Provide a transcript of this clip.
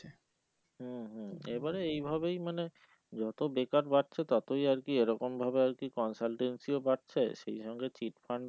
হম হম এইবারে এইভাবেই মানে যত বেকার বাড়ছে ততই আর কি এরকম ভাবে আর কি consultancy ও বাড়ছে সেই সঙ্গে cheat fund